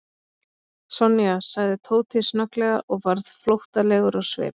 Sonja sagði Tóti snögglega og varð flóttalegur á svip.